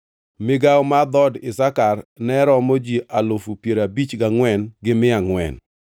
Migawo mar dhood Isakar ne romo ji alufu piero abich gangʼwen gi mia angʼwen (54,400).